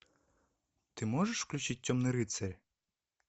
ты можешь включить темный рыцарь